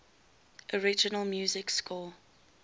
original music score